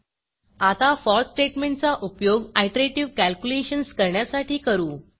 आता फोर स्टेटमेंटचा उपयोग आयटरेटिव कॅलक्युलेशन्स करण्यासाठी करू